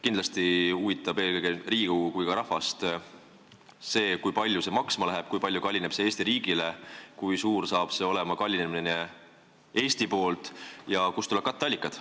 Kindlasti huvitab Riigikogu ja rahvast eelkõige see, kui palju see maksma läheb, kui palju kallineb see Eesti riigile, kui suur saab olema kallinemine Eesti jaoks ja kust tulevad katteallikad.